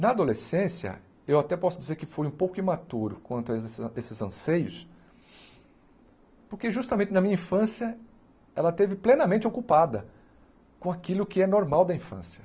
Na adolescência, eu até posso dizer que fui um pouco imaturo quanto a esses esses anseios, porque justamente na minha infância ela esteve plenamente ocupada com aquilo que é normal da infância.